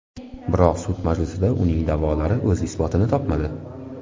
Biroq sud majlisida uning da’volari o‘z isbotini topmadi.